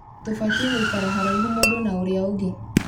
Tũbatiĩ gũikara haraihu mũndũ na ũrĩa ũngĩ